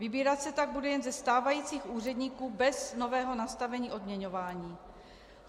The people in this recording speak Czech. Vybírat se tak bude jen ze stávajících úředníků bez nového nastavení odměňování.